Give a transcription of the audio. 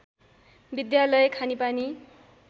विद्यालय खानेपानी